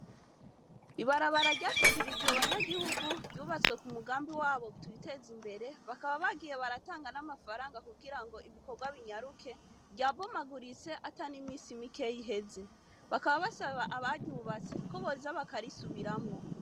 Ibarabara ryashikirijwe abanyagihugu ryubatswe ku mugambi wabo twitezimbere, bakaba bagiye baratanga n'amafaranga kugira ngo ibikorwa binyaruke ryabomaguritse ata n'imisi mikeyi iheze, bakaba basaba abaryubatse ko boza bakarisubiramwo.